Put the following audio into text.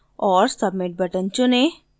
और submit button चुनें